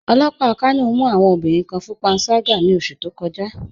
Ọlọ́pà Kano mù awọn obìnriǹ kàn fún pànságà ní ọṣù tó kọ̀já